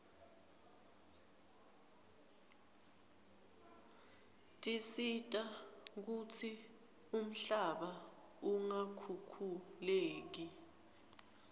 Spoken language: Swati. tisita kutsi umhlaba ungakhukhuleki